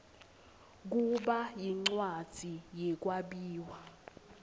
kuba yincwadzi yekwabiwa